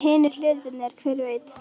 Hinir hlutirnir. hver veit?